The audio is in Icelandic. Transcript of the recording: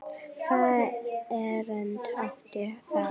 Hvaða erindi átti það?